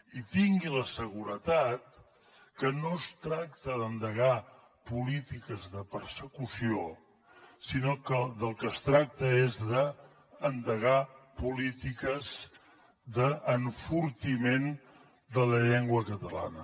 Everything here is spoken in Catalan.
i tingui la seguretat que no es tracta d’endegar polítiques de persecució sinó que del que es tracta és d’endegar polítiques d’enfortiment de la llengua catalana